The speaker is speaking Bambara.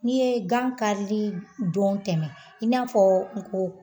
N'i ye gan karili dɔn tɛmɛ i n'a fɔ n ko